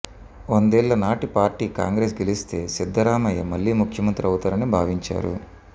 వందేళ్లనాటి party Congress గెలిస్తే సిద్ధరామయ్య మళ్లీ ముఖ్యమంత్రి అవుతారని భావించారు